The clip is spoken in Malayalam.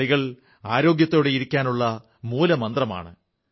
കളികൾ ആരോഗ്യത്തോടെയിരിക്കാനുള്ള മൂലമന്ത്രമാണ്